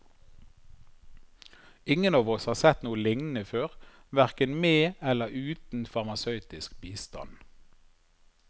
Ingen av oss har sett noe lignende før, verken med eller uten farmasøytisk bistand.